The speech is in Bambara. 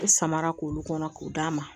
I samara k'olu kɔnɔ k'o d'a ma